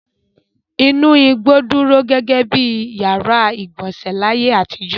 Inú igbó dúró gẹ́gẹ́ bí ìyàrá-ìgbọ̀nsẹ̀ láyé àtijọ́.